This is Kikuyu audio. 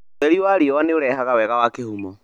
Ũtheri wa riũa nĩ ũrehaga wega wa kĩhumo.